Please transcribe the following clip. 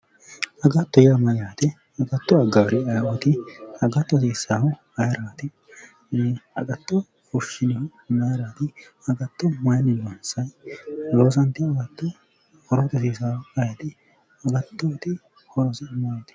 Agatto yaa mayyaate? agatto aggaari ayeeooti? gatto hasiissaahu ayeerati? agatto fushshinihu maayiirati? agatto maayiinni loonsanni? loosantewo agatto horote hosiisaahu ayeeti? agattoyiiti horosi maati?